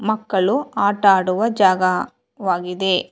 ಮಕ್ಕಳು ಆಟ ಆಡುವ ಜಾಗ ವಾಗಿದೆ.